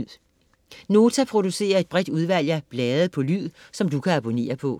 Nota producerer et bredt udvalg af blade på lyd, som du kan abonnere på.